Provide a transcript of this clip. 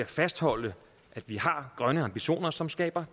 fastholde at vi har grønne ambitioner som skaber